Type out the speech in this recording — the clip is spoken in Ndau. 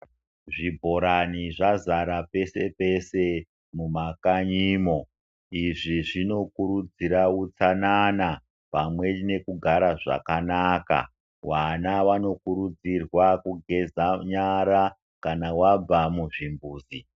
Zvibhorani zvazara pese pese mumakanyimo, izvi zvinokurudzira utsanana pamwe nekugara zvakanaka. Vana vanokurudzirwa kugeza nyara kana wabva muzvimbuzi.